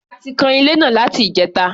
A ti kan ilé náà láti ìjẹta.